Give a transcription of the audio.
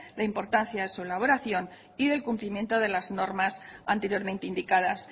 la importancia de su elaboración y del cumplimiento de las normas anteriormente indicadas